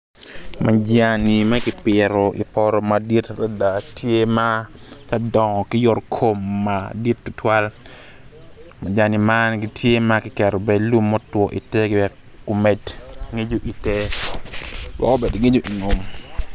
Majan ma kipito i poto madit adad tye ma tye ka dongo ki yotokom madit tutwal majani man tye ma kiketo i te lum mutwo wek omed ngico i ter wek omed ngico i ngom.